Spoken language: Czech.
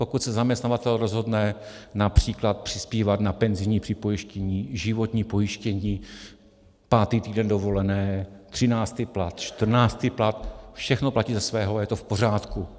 Pokud se zaměstnavatel rozhodne například přispívat na penzijní připojištění, životní pojištění, pátý týden dovolené, třináctý plat, čtrnáctý plat, všechno platí ze svého a je to v pořádku.